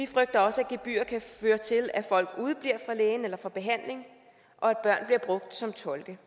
frygter også at gebyrer kan føre til at folk udebliver lægen eller fra behandling og at børn bliver brugt som tolke